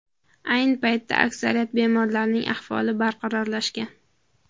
Ayni paytda aksariyat bemorlarning ahvoli barqarorlashgan.